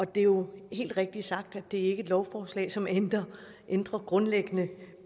det er jo helt rigtigt sagt at det ikke lovforslag som ændrer ændrer grundlæggende